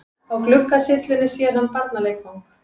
Á gluggasyllunni sér hann barnaleikfang.